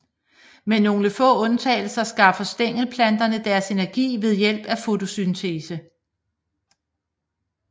Med nogle få undtagelser skaffer stængelplanterne deres energi ved hjælp af fotosyntese